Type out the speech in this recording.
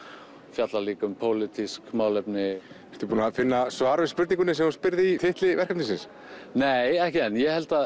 fjallar líka um pólitísk málefni ertu búinn að finna svar við spurningunni sem þú spyrð í titli verkefnisins nei ekki enn ég held að